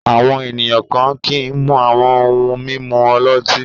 Àwọn ènìyàn kan kì í mu àwọn ohun-mímu ọlọ́tí.